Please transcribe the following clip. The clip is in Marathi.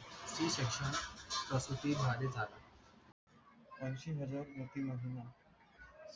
प्रकृती भादे झाला अंशी हजार नक्की महिना